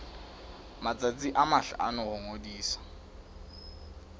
matsatsi a mahlano ho ngodisa